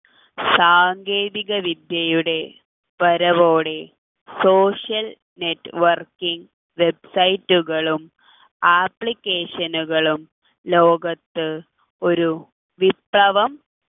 സാങ്കേതിക വിദ്യയുടെ വരവോടെ social networking website കളും application കളും ലോകത്ത് ഒരു വിപ്ലവം